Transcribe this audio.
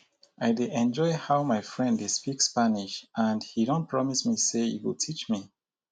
i dey enjoy how my friend dey speak spanish and he don promise me say he go teach me